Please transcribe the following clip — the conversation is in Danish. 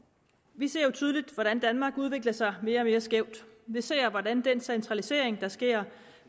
vi ser jo tydeligt hvordan danmark udvikler sig mere og mere skævt vi ser hvordan den centralisering der sker